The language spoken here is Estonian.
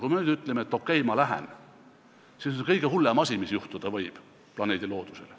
Kui me nüüd ütleme, et okei, ma lähen, siis on see kõige hullem asi, mis võib juhtuda planeedi loodusele.